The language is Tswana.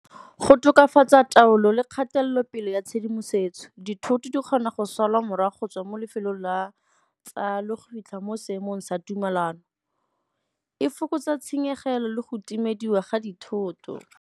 Go tokafatsa taolo le kgatelopele ya tshedimosetso, dithoto di kgona go salwa morago go tswa mo lefelong le go fitlha mo seemong sa tumalano. E fokotsa tshenyegelo le go timediwa ga dithoto.